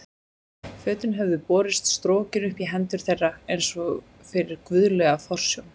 Fötin höfðu borist strokin upp í hendur þeirra eins og fyrir guðlega forsjón.